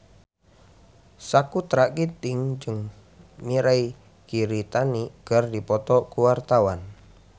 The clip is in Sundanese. Sakutra Ginting jeung Mirei Kiritani keur dipoto ku wartawan